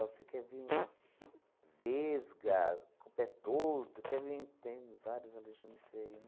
Você quer vim vesga, com o pé torto, quer vim... Tem vários, né?